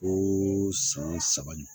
Ko san wo saba ɲɔgɔn